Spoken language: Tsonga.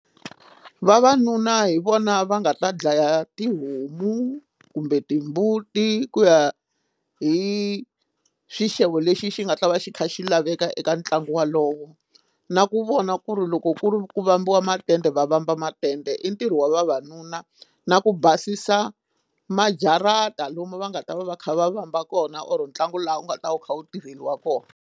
Vavanuna hi vona va nga ta dlaya tihomu kumbe timbuti ku ya hi xixevo lexi xi nga ta va xi kha xi laveka eka ntlangu wolowo na ku vona ku ri loko ku ri ku vambiwa matende va vamba matende i ntirho wa vavanuna na ku basisa majarata lomu va nga ta va va kha va vamba kona or ntlangu laha u nga ta wu kha wu tirheliwa kona.